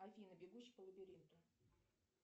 афина бегущий по лабиринту